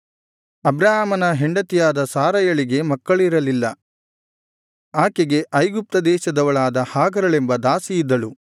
ಅಬ್ರಾಮನ ಹೆಂಡತಿಯಾದ ಸಾರಯಳಿಗೆ ಮಕ್ಕಳಿರಲಿಲ್ಲ ಆಕೆಗೆ ಐಗುಪ್ತ ದೇಶದವಳಾದ ಹಾಗರಳೆಂಬ ದಾಸಿಯಿದ್ದಳು